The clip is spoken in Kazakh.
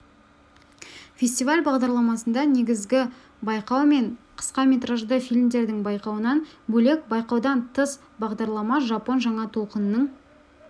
фестиваль бағдарламасында негізгі байқау мен қысқаметражды фильмдердің байқауынан бөлек байқаудан тыс бағдарламада жапон жаңа толқынының